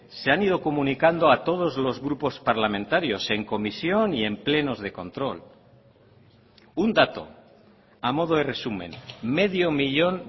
se han ido comunicando a todos los grupos parlamentarios en comisión y en plenos de control un dato a modo de resumen medio millón